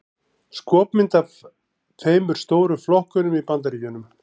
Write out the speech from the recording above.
Skopmynd af tveimur stóru flokkunum í Bandaríkjunum.